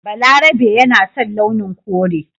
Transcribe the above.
Balarabe yana son launin kore